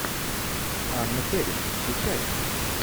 анна фэрис включай